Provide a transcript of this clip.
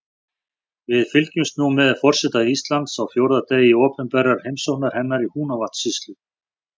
Við fylgjumst nú með forseta Íslands á fjórða degi opinberrar heimsóknar hennar í Húnavatnssýslu.